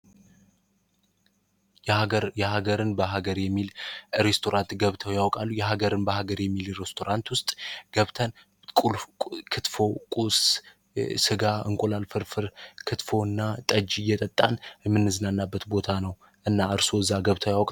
የሀገር የሀገርን በሀገሬ የሚል ሬስቶራንት ገብተው ያውቃሉ የሀገርን በሀገሬ የሚል ሮስቶን ውስጥ ገብተን ቁጥፉ ጋ እንቁላል ፍርፍር ክትፎና ጠጅ እየጠጣ የምንዝናናበት ቦታ ነው እና እርሶ እዛ ገብተው ያውቃሉ?